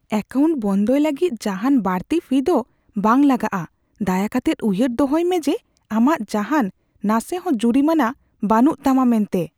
Account ᱵᱚᱱᱫᱚᱭ ᱞᱟᱹᱜᱤᱫ ᱡᱟᱦᱟᱱ ᱵᱟᱹᱲᱛᱤ ᱯᱷᱤ ᱫᱚ ᱵᱟᱝ ᱞᱟᱜᱟᱜᱼᱟ ᱾ ᱫᱟᱭᱟᱠᱟᱛᱮᱫ ᱩᱭᱦᱟᱹᱨ ᱫᱚᱦᱚᱭ ᱢᱮ ᱡᱮ ᱟᱢᱟᱜ ᱡᱟᱦᱟᱱ ᱱᱟᱥᱮᱦᱚ ᱡᱩᱨᱤᱢᱟᱱᱟ ᱵᱟᱹᱱᱩᱜ ᱛᱟᱢᱟ ᱢᱮᱱᱛᱮ ᱾